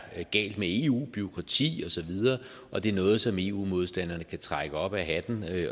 galt med eu bureaukrati og så videre og det er noget som eu modstanderne kan trække op af hatten